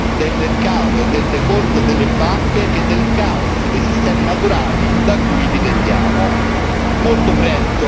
Ci preoccupiamo più del mercato e del default delle banche che del caos dei sistemi naturali da cui dipendiamo.